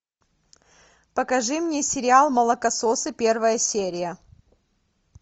покажи мне сериал молокососы первая серия